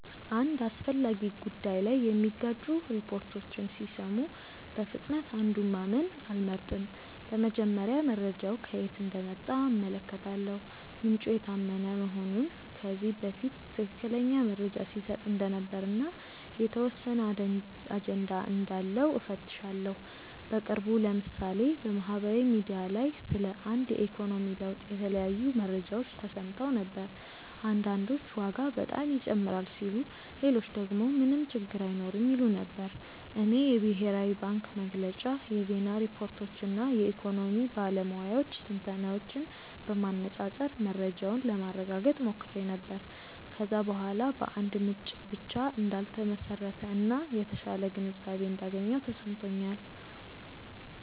አንድ አስፈላጊ ጉዳይ ላይ የሚጋጩ ሪፖርቶችን ሲሰሙ በፍጥነት አንዱን ማመን አልመርጥም። በመጀመሪያ መረጃው ከየት እንደመጣ እመለከታለሁ፤ ምንጩ የታመነ መሆኑን፣ ከዚህ በፊት ትክክለኛ መረጃ ሲሰጥ እንደነበር እና የተወሰነ አጀንዳ እንዳለው እፈትሻለሁ። በቅርቡ ለምሳሌ በማህበራዊ ሚዲያ ላይ ስለ አንድ የኢኮኖሚ ለውጥ የተለያዩ መረጃዎች ተሰምተው ነበር። አንዳንዶች ዋጋ በጣም ይጨምራል ሲሉ ሌሎች ደግሞ ምንም ችግር አይኖርም ይሉ ነበር። እኔ የብሔራዊ ባንክ መግለጫ፣ የዜና ሪፖርቶች እና የኢኮኖሚ ባለሙያዎች ትንታኔዎችን በማነፃፀር መረጃውን ለማረጋገጥ ሞክሬ ነበር። ከዚያ በኋላ በአንድ ምንጭ ብቻ እንዳልተመሰረተ እና የተሻለ ግንዛቤ እንዳገኘሁ ተሰምቶኛል።